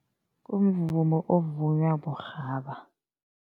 Kumvumo ovunywa burhaba.